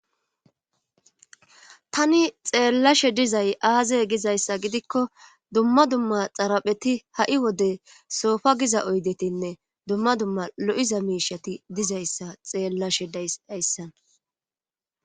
Tani xeellashe dizay aazey gizayssa gidikko dumma dumma xarapheti ha7i wode soofa giza oydetinne dumma dumma lo7iza miishati dizayssa xeellashe dayssan